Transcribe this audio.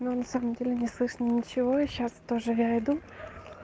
но на самом деле не слышно ничего и сейчас тоже я иду